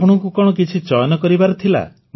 ଆପଣଙ୍କୁ କଣ କିଛି ଚୟନ କରିବାର ଥିଲା